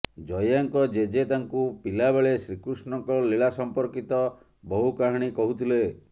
ଜୟାଙ୍କ ଜେଜେ ତାଙ୍କୁ ପିଲା ବେଳେ ଶ୍ରୀକୃଷ୍ଣଙ୍କ ଲୀଳା ସଂପର୍କିତ ବହୁ କାହାଣୀ କହୁଥିଲେ